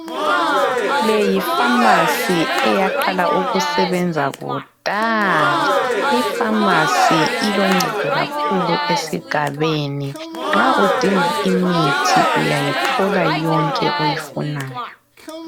Le yifamasi eyaqala ukusebenza kudala. Lifamasi iloncedo kakhulu esigabeni nxa udinga imithi uyayithola yonke oyifunayo.